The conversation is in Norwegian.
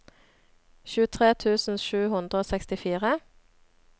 tjuetre tusen sju hundre og sekstifire